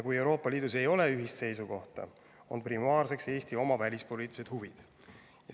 Kui Euroopa Liidus ei ole ühist seisukohta, on primaarseks Eesti oma välispoliitilised huvid.